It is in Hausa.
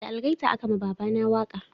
Da algaita a ka ma baba na waka